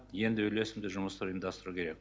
енді үйлесімді жұмысты ұйымдастыру керек